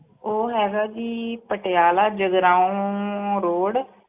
ਉਹ ਹੈਗਾ ਜੀ ਪਟਿਆਲਾ ਜਗਰਾਓਂ road